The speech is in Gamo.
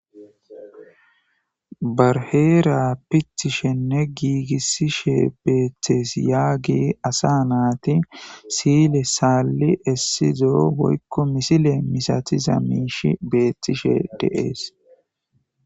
bar heera pitishenne giigissishe beeththees yaagi asa naati siile saalli essizo hoykko misile misati za miishi beethtishe de7es